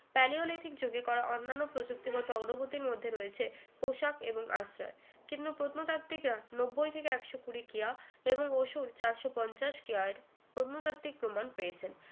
Palaeolithic যুগে করা অন্যান্য প্রযুক্তিগত অগ্রগতির মধ্যে রয়েছে পোশাক এবং আশ্রয় কিন্তু প্রত্নতাত্ত্বিকরা নব্বই থেকে একশো কুড়ি কেয়া এবং অসুর চারশো পঞ্চাশ কেয়ার প্রত্নতাত্ত্বিক প্রমাণ পেয়েছেন